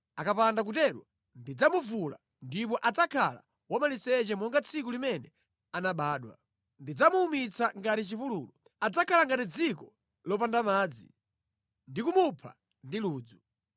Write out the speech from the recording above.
Akapanda kutero ndidzamuvula, ndipo adzakhala wamaliseche monga tsiku limene anabadwa; ndidzamuwumitsa ngati chipululu, adzakhala ngati dziko lopanda madzi, ndi kumupha ndi ludzu.